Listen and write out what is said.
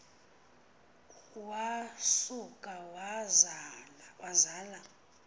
wa suka wazala